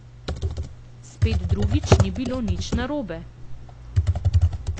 Spet drugič ni bilo nič narobe.